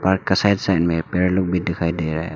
park का side side में पेड़ लोग भी दिखाई दे रहा है और--